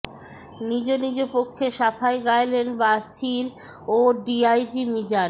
নিজ নিজ পক্ষে সাফাই গাইলেন বাছির ও ডিআইজি মিজান